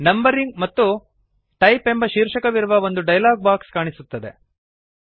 numbering ಮತ್ತು type ಎಂಬ ಶೀರ್ಷಕವಿರುವ ಒಂದು ಡಯಲಾಗ್ ಬಾಕ್ಸ್ ಕಾಣಿಸುತ್ತದೆ